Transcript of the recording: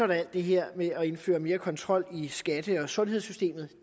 der alt det her med at indføre mere kontrol i skatte og sundhedssystemerne og